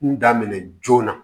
N daminɛ joona